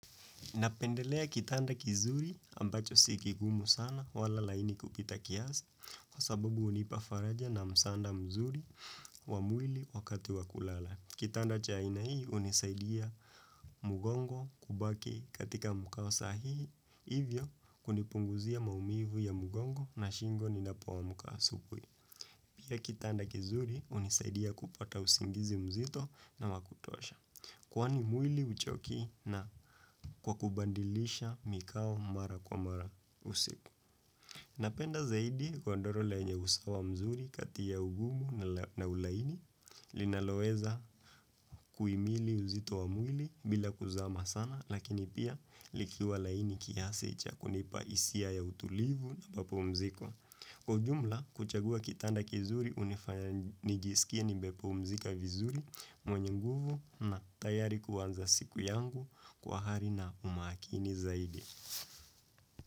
Napendelea kitanda kizuri ambacho sikigumu sana wala laini kupita kiasi kwa sababu hunipafaraja na msaada mzuri wamwili wakati wakulala. Kitanda chaina hii unisaidia mgongo kubaki katika mkawasahihi, hivyo kunipunguzia maumivu ya mgongo na shingo ni napo amka asubuhi Pia kitanda kizuri hunisaidia kupata usingizi mzito na wakutosha. Kwani mwili huchoki na kwa kubandilisha mikao mara kwa mara usiku Napenda zaidi kwa godoro lenye usawa mzuri katia ugumu na ulaini Linaloeza kuimili uzito wa mwili bila kuzama sana Lakini pia likiwa laini kiasi chakunipa hisia ya utulivu na mapu mziko Kwa jumla, kuchagua kitanda kizuri hunifanya nijisikia nimep umzika vizuri mwenye nguvu na tayari kuwanza siku yangu kwa hari na umakini zaidi.